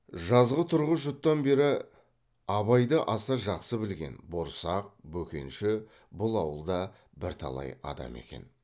жазғытұрғы жұттан бері абайды аса жақсы білген борсақ бөкенші бұл ауылда бірталай адам екен